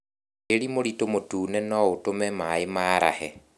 Tĩri mũritũ mũtune noũtũme maĩ marahe